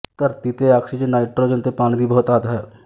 ਧਰਤੀ ਤੇ oxygen nitrogen ਤੇ ਪਾਣੀ ਦੀ ਬਹੁਤਾਤ ਹੈ